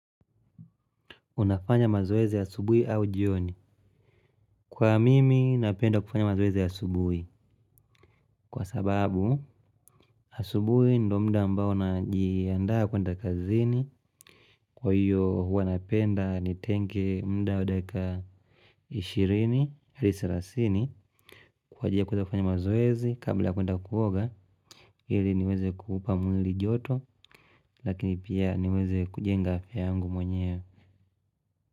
Unafanya mazoezi asubuhi au jioni. Kwa mimi napenda kufanya mazoezi asubui. Kwa sababu, asubuhi ndo mda ambao najiandaa kuenda kazini. Kwa hiyo, huwa napenda ni tenke mda wadaka ishirini, ali sarasini. Kwa ajili ya kuweza kufanya mazoezi kabla ya kuenda kuoga ili niweze kuupa mwili joto lakini pia niweze kujenga afya yangu mwenyewe.